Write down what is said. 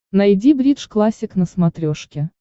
найди бридж классик на смотрешке